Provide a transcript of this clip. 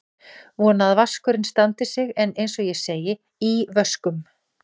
Vona að vaskurinn standi sig en eins og ég segi: í vöskum.